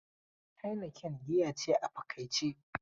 Heineken giya ce a fakaice.